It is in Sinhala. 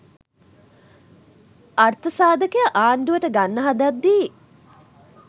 අර්ථසාධකය ආණ්ඩුවට ගන්න හදද්දී